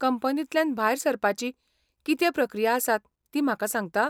कंपनींतल्यान भायर सरपाची कितें प्रक्रिया आसता ती म्हाका सांगता?